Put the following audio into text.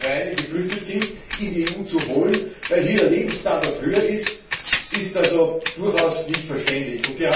die Ukraine geflüchtet sind, in die EU zu holen, weil hier der Lebensstandard höher ist, ist also überhaupt nicht verständlich.